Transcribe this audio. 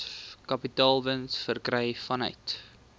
kapitaalwins verkry vanuit